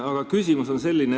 Aga küsimus on selline.